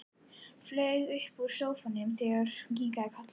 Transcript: Flaug upp úr sófanum þegar hún kinkaði kolli.